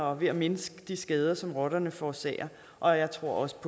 og ved at mindske de skader som rotterne forårsager og jeg tror også